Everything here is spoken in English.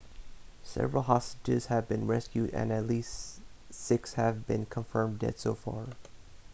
several hostages have been rescued and least six have been confirmed dead so far